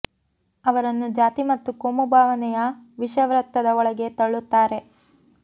ಅವರನ್ನು ಜಾತಿ ಮತ್ತು ಕೋಮು ಭಾವನೆಯ ವಿಷ ವೃತ್ತದ ಒಳಗೆ ತಳ್ಳುತ್ತಾರೆ